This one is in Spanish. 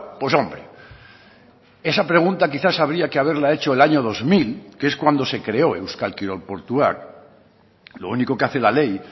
pues hombre esa pregunta quizás habría que haberla hecho el año dos mil que es cuando se creó euskal kirol portuak lo único que hace la ley